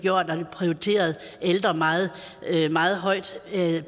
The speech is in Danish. prioriteret ældre meget meget højt